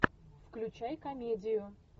включай комедию